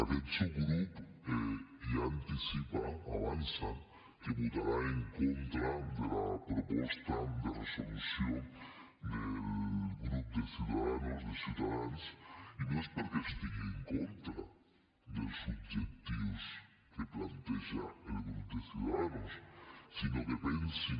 aquest subgrup ja anticipa avança que votarà en contra de la proposta de resolució del grup de ciudadanos de ciutadans i no és perquè estigui en contra dels objectius que planteja el grup de ciudadanos sinó que pensin